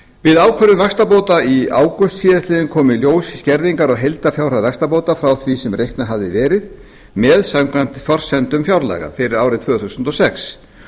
við ákvörðun vaxtabóta í ágúst síðastliðnum kom í ljós skerðing á heildarfjárhæð vaxtabóta frá því sem reiknað hafði verið með samkvæmt forsendum fjárlaga fyrir árið tvö þúsund og sex